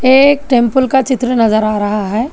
एक टेंपल का चित्र नजर आ रहा है।